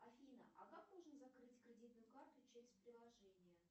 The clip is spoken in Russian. афина а как можно закрыть кредитную карту через приложение